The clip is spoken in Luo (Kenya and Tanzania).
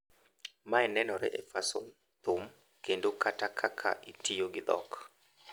Mae nenore e fason, thum, kendo kata kaka itiyo gi dhok.